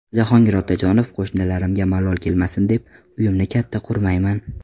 Jahongir Otajonov: Qo‘shnilarimga malol kelmasin deb, uyimni katta qurmayman .